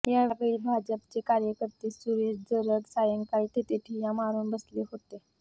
यावेळी भाजपचे कार्यकर्ते सुरेश जरग सायंकाळी तेथे ठिय्या मारुन बसले होते